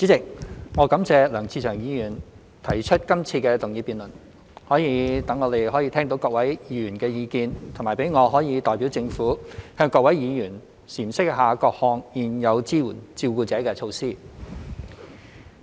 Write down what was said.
代理主席，我感謝梁志祥議員提出今次的議案，可以讓我們聽到各位議員的意見，以及讓我可代表政府向各位議員闡釋各項現有支援照顧者的措施。